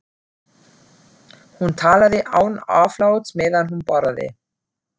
Hún talaði án afláts meðan hún borðaði.